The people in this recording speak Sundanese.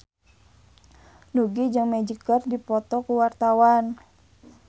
Nugie jeung Magic keur dipoto ku wartawan